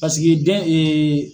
Paseke den